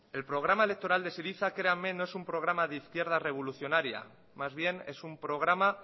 el programa electoral de syriza créanme no es un programa de izquierda revolucionaria más bien es un programa